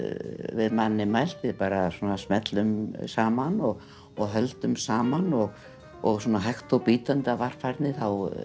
við manninn mælt við bara smellum saman og og höldum saman og og svona hægt og bítandi af varfærni